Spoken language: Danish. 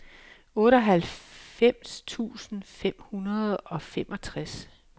otteoghalvfems tusind fem hundrede og femogtres